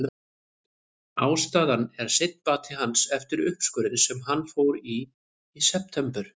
Ástæðan er seinn bati hans eftir uppskurðinn sem hann fór í í september.